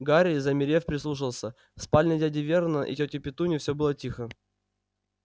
гарри замерев прислушался в спальне дяди вернона и тёти петуньи все было тихо